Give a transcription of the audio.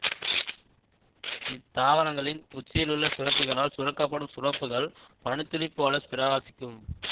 இத்தாவரங்களின் உச்சியிலுள்ள சுரப்பிகளால் சுரக்க படும் சுரப்புகள் பனி துளி போல பிரகாசிக்கும்